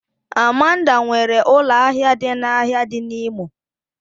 Amanda nwere ụlọ ahịa n'ahịa dị n'Imo